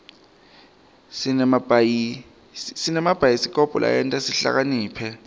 sinemabhayisikobho lasenta sihlakaniphe